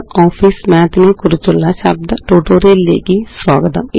LibreOfficeMathനെക്കുറിച്ചുള്ള ശബ്ദ ട്യൂട്ടോറിയലിലേയ്ക്ക് സ്വാഗതം